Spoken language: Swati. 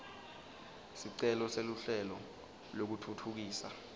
sicelo seluhlelo lwekutfutfukisa